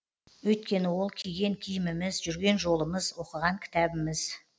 өйткені ол киген киіміміз жүрген жолымыз оқыған кітабымыз